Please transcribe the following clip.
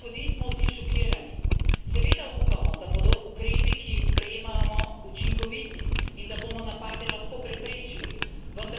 Seveda upamo, da bodo ukrepi, ki jih sprejemamo, učinkoviti in da bomo napade lahko preprečili, vendar realnost je drugačna.